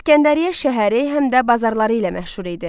İsgəndəriyyə şəhəri həm də bazarları ilə məşhur idi.